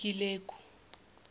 ikileku